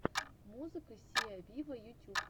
музыка сиа виво ютюб